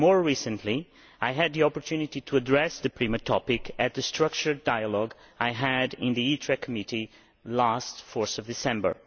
More recently, I had the opportunity to address the PRIMA topic at the structured dialogue I had in the ITRE Committee on 4 December.